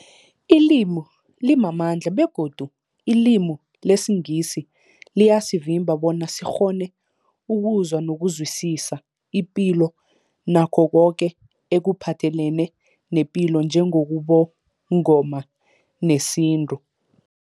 Ilimi limamandla begodu ilimi lesiNgisi liyasivimba bona sikghone ukuzwa nokuzwisisa ipilo nakho koke ekuphathelene nepilo njengobuNgoma nesintu.